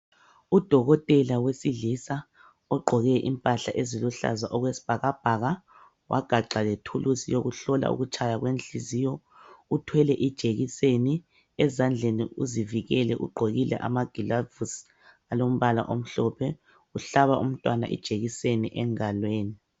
Udokotela wesilisa ogqoke impahla eziluhlaza okwesibhakabhaka, wagaxa lethuluzi yokuhlola ukutshaya kwenhliziyo, uthwele ijekiseni, ezandleni uzivikele ugqokile amagilavusi alombala omhlophe. Uhlaba umntwana ijekiseni engalweni.